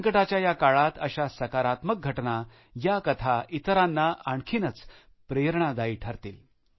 संकटाच्या या काळात अशा सकारात्मक घटना या कथा इतरांना आणखीनच प्रेरणादायी ठरतील